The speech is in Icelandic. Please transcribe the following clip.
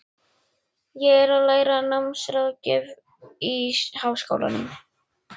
Ég er að læra námsráðgjöf í Háskólanum.